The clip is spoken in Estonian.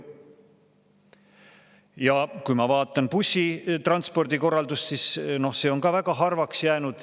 Ja kui ma vaatan bussitranspordi korraldust, siis see on ka väga harvaks jäänud.